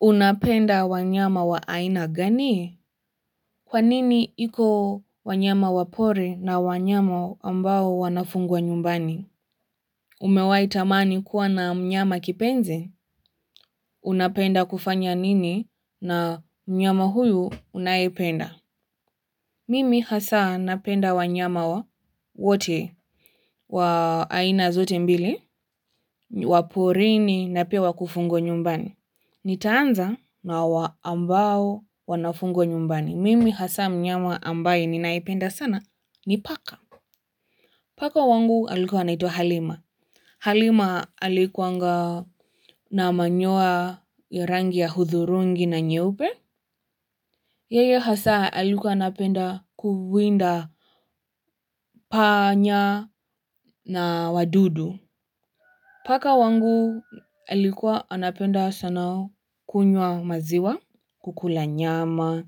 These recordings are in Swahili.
Unapenda wanyama wa aina gani? Kwa nini iko wanyama wa pori na wanyama ambao wanafungwa nyumbani? Umewahi tamani kuwa na mnyama kipenzi? Unapenda kufanya nini na mnyama huyu unayependa? Mimi hasa napenda wanyama wote wa aina zote mbili, wa porini na pia wakufugwa nyumbani. Nitaanza na wa ambao wanafungwa nyumbani. Mimi hasa mnyama ambaye ninaipenda sana ni paka. Paka wangu alikuwa anaitwa Halima. Halima alikuanga na manyoya ya rangi ya hudhurungi na nyeupe. Yeye hasa alikuwa anapenda kuwinda panya na wadudu. Paka wangu alikuwa anapenda sana kunywa maziwa, kukula nyama,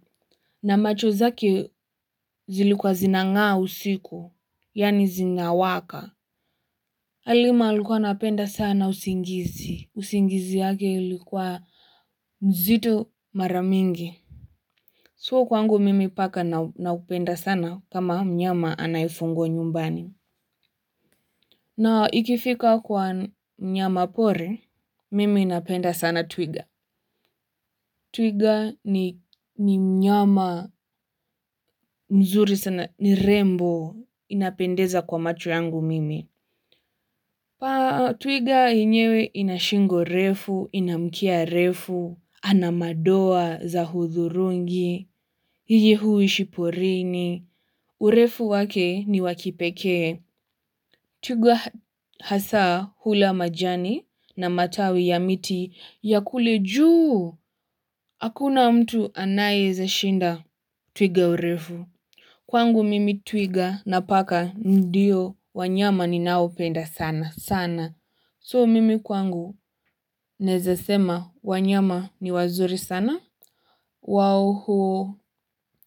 na macho zake zilikuwa zinangaa usiku, yaani zinawaka. Halima alikuwa anapenda sana usingizi, usingizi yake ilikuwa mzito mara mingi. Su kwangu mimi paka naupenda sana kama nyama anayefungwa nyumbani. Na ikifika kwa mnyamapori, mimi napenda sana twiga. Twiga ni mnyama mzuri sana ni rembo inapendeza kwa macho yangu mimi. Twiga yenyewe ina shingo refu, ina mkia refu, ana madoa za hudhurungi, yeye huishi porini, urefu wake ni wa kipekee. Twiga hasa hula majani na matawi ya miti ya kule juu, hakuna mtu anayeeza shinda. Twiga urefu. Kwangu mimi twiga na paka ndio wanyama ninaopenda sana. Sana. So mimi kwangu naeza sema wanyama ni wazuri sana. Wao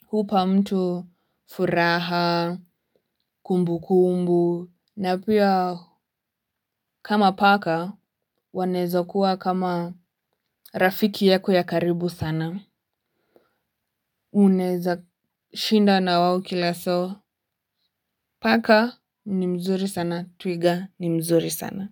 huupa mtu furaha, kumbukumbu. Na pia kama paka, wanaeza kuwa kama rafiki yako ya karibu sana. Unaeza shinda na wao kila so, paka ni mzuri sana, twiga ni mzuri sana.